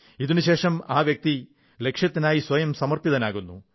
ഇതിനുശേഷം ആ വ്യക്തി ഈ ലക്ഷ്യത്തിനായി സ്വയം സമർപ്പിതനാകുന്നു